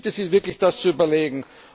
Ich bitte Sie wirklich, das zu überlegen.